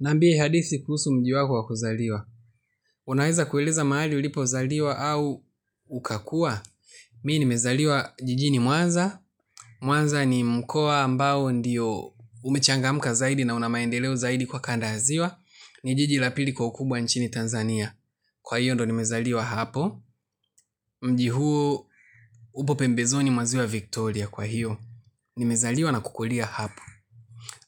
Niambie hadithi kuhusu mji wako wa kuzaliwa. Unaweza kueleza mahali ulipo zaliwa au ukakua. Mi nimezaliwa jijini Mwanza. Mwaza ni mkoa ambao ndiyo umechangamka zaidi na una maendeleo zaidi kwa kando ya ziwa. Ni jiji la pili kwa ukubwa nchini Tanzania. Kwa hiyo ndo nimezaliwa hapo. Mji huu upo pembezoni mwa ziwa Victoria kwa hiyo. Nimezaliwa na kukulia hapo.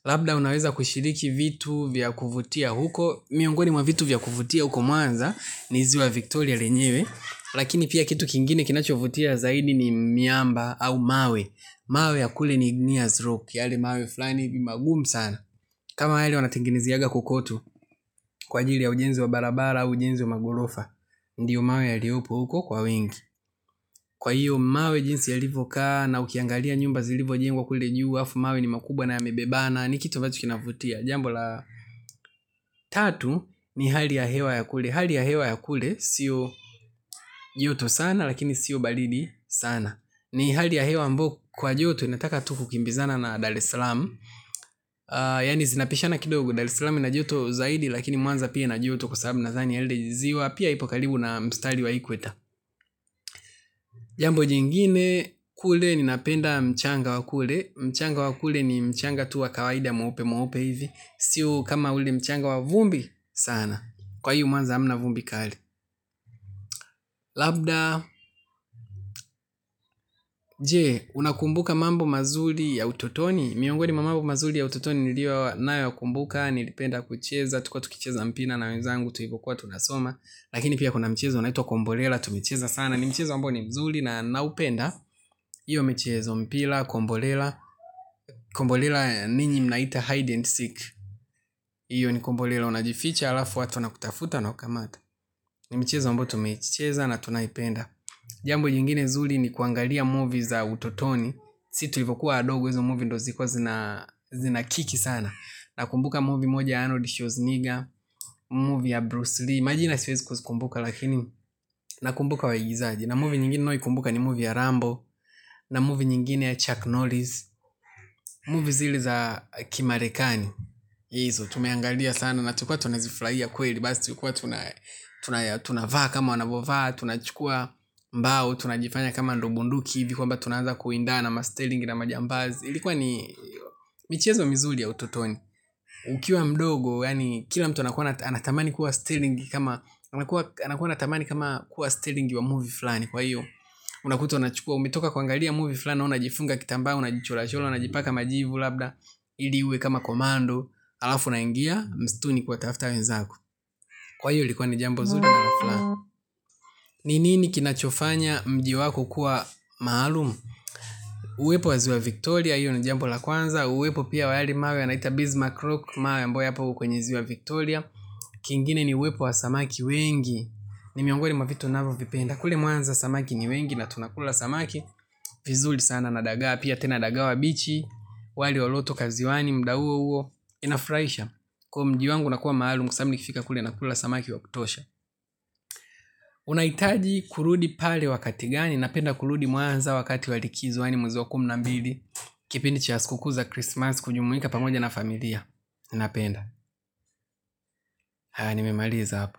Labda unaweza kushiriki vitu vya kuvutia huko. Miongoni mwa vitu vya kuvutia huko mwanza. Ni ziwa Victoria lenyewe. Lakini pia kitu kingine kinachovutia zaidi ni miamba au mawe. Mawe ya kule ni Nears Rock Yale mawe fulani hivi magumu sana. Kama yale wanatengenezeanga kokotu. Kwa ajili ya ujenzi wa barabara au ujenzi wa magolofa. Ndiyo mawe yaliopo huko kwa wingi. Kwa hiyo mawe jinsi yalivo kaa. Na ukiangalia nyumba zilivojengwa kule juu halafu mawe ni makubwa na yamebebana. Ni kitu ambacho alkinavutia. Jambo la tatu ni hali ya hewa ya kule. Hali ya hewa ya kule sio joto sana lakini siyo baridi sana. Ni hali ya hewa ambayo kwa joto inataka tu ku kimbizana na Daresalam yaani zinapishana kidogo daresalamu ina joto zaidi lakini mwanza pia ina joto kwa sababu nadhani ziwa pia ipo karibu na mstari wa equator. Jambo jingine kule ninapenda mchanga wa kule. Mchanga wa kule ni mchanga tu wa kawaida mweupe mweupe hivi. Sio kama ule mchanga wa vumbi sana. Kwa hio mwanza hamna vumbi kali. Labda, je, unakumbuka mambo mazuri ya utotoni. Miongoni mwa mambo mazuri ya ututoni nilio nayoyakumbuka. Nilipenda kucheza, tulikuwa tukicheza mpira na wenzangu tulivokuwa tunasoma. Lakini pia kuna mchezo unaitwa kombolela, tumecheza sana. Ni mchezo ambao ni mzuri na naupenda. Iyo michezo mpira, kombolela. Kombolela ninyi mnaita hide and seek hiyo ni kombolela unajificha alafu watu wanakutafuta na ukamata. Ni mchezo amboyo tumeicheza na tunaipenda. Jambo nyingine zuri ni kuangalia movie za utotoni jinsi tulivokuwa wadogo hizo movie ndo zilikuwa zina kiki sana. Nakumbuka movie moja Arnold Schwarzenegger. Movie ya Bruce Lee. Majina siwezi kuzikumbuka lakini nakumbuka waigizaji. Na movie nyingine naoikumbuka ni movie ya Rambo. Na movie nyingine ya Chuck Norris. Movie zile za Kimarekani hizo tumeangalia sana. Na tulikuwa tunazifurahia kweli. Basi tulikuwa tunavaa kama wanavovaa tunachukua mbao, tunajifanya kama ndo bunduki hivi kwamba tunaanza kuindana ma-stilling na ma-jambaz ilikuwa ni michezo mizuri ya ututoni ukiwa mdogo kila mtu anakuwa anatamani kuwa stilling kama kuwa stilling wa movie fulani kwa iyo unakuta unachukua umetoka kuangalia movie flani, unajifunga kitamba unajichorachora unajipaka majibu labda ili iwe kama commando halafu unaingia msituni kuwatafuta wenzako kwa hiyo ilikuwa jambo la furaha. Ni nini kunafanya mji wako kuwa maalum? Uwepo wa ziwa Victoria, hiyo ni jambo la kwanza. Uwepo pia yale mawe yanaita Bismarck Rock. Mawe ambayo yapo kwenye ziwa Victoria. Kingine ni uwepo wa samaki wengi. Ni miongoni mwa vitu navovipenda. Kule mwanza samaki ni wengi na tunakula samaki. Vizuri sana na daga, pia tena daga wabichi. Wali uliotoka ziwani, muda huo huo inafurahisha kwa hio mji wangu unakua maalum kwa sababu nikifika kule nakula samaki wa kutosha. Unahitaji kurudi pale wakati gani napenda kurudi mwanza wakati wa likizo yaani mwezi wa kumi na mbili kipindi cha sikukuu za krismasi kujumuika pamoja na familia. Napenda aah nimemaliza hapo.